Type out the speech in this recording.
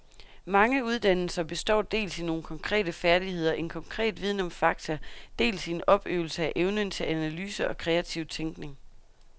Mange uddannelser består dels i nogle konkrete færdigheder, en konkret viden om fakta, dels i en opøvelse af evnen til analyse og kreativ tænkning.